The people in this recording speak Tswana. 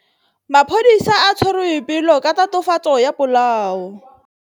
Maphodisa a tshwere Boipelo ka tatofatsô ya polaô.